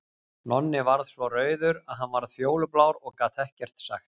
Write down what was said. Nonni varð svo rauður að hann varð fjólublár og gat ekkert sagt.